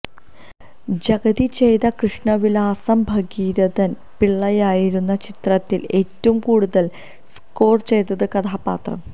ജഗതി ചെയ്ത കൃഷ്ണവിലാസം ഭഗീരഥന് പിള്ളയായിരുന്നു ചിത്രത്തിൽ ഏറ്റവും കൂടുതൽ സ്കോർ ചെയ്ത കഥാപാത്രം